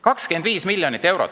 25 miljonit eurot!